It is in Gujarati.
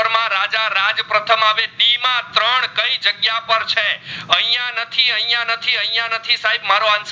અહીંયા નથી અહીંયા નથી સાહેબ મારો answer